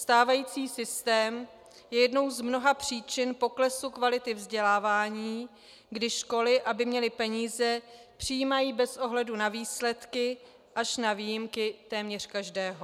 Stávající systém je jednou z mnoha příčin poklesu kvality vzdělávání, kdy školy, aby měly peníze, přijímají bez ohledu na výsledky až na výjimky téměř každého.